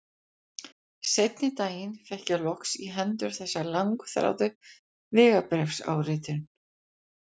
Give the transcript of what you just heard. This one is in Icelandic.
Seinni daginn fékk ég loks í hendur þessa langþráðu vegabréfsáritun.